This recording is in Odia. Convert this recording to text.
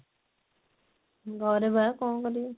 ଘରେ ବା କଣ କରିବି